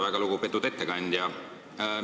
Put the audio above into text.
Väga lugupeetud ettekandja!